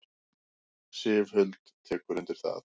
Sif Huld tekur undir það.